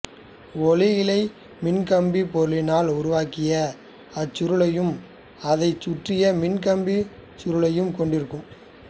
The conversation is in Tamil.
ஒளியிழை மின்காப்பு பொருளினால் உருவாக்கிய அச்சுள்ளையும் அதை சுற்றிய மின்காப்பு அச்சுறையையும் கொண்டிருக்கும்